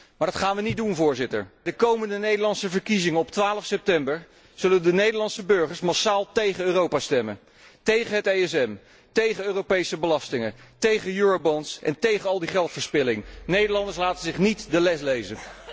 Maar dat gaan we niet doen. Bij de komende Nederlandse verkiezingen op 12 september zullen de Nederlandse burgers massaal tegen Europa stemmen, tegen het ESM, tegen Europese belastingen, tegen eurobonds en tegen al die geldverspilling. Nederlanders laten zich niet de les lezen.